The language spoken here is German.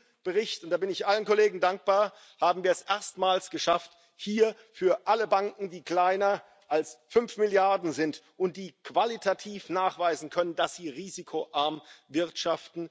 Mit diesem Bericht und da bin ich allen Kollegen dankbar haben wir es erstmals geschafft, dass hier für alle Banken, die kleiner als fünf Milliarden sind und die qualitativ nachweisen können, dass sie risikoarm wirtschaften,